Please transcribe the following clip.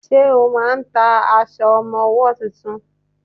Ṣẹ́ máà ń ta aṣọ ọmọwọ́ tuntun?